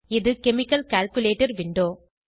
இது chemical calculator window